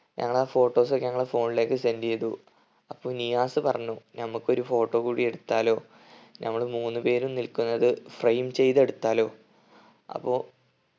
ഞങ്ങളാ photos ഒക്കെ ഞങ്ങളെ phone ലേക്ക് send ചെയ്തു. അപ്പൊ നിയാസ് പറഞ്ഞു നമ്മക്കൊരു photo കൂടി എടുത്താലോ നമ്മൾ മൂന്ന് പേരും നിൽക്കുന്നത് frame ചെയ്ത് എടുത്താലോ അപ്പൊ